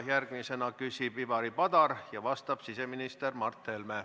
Järgmisena küsib Ivari Padar ja vastab siseminister Mart Helme.